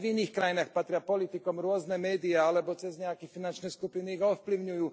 Aj v iných krajinách patria politikom rôzne médiá alebo cez nejaké finančné skupiny ich ovplyvňujú.